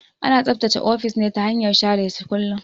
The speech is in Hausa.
Ana tsaftace ofis ne ta hanyar share shi kullun.